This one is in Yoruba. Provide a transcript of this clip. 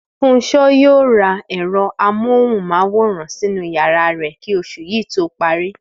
Fúnṣo yóò ra ẹ̀rọ amóhùn-máwòrán sínú yàrá rẹ̀ kí oṣù yìí tó parí